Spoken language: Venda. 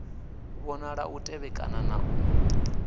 vhonala u tevhekana na u